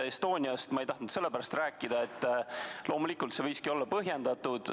Estoniast ei tahtnud ma rääkida sellepärast, et loomulikult, see lend võiski olla põhjendatud.